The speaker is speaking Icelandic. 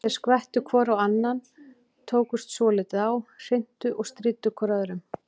Þeir skvettu hvor á annan, tókust svolítið á, hrintu og stríddu hvor öðrum.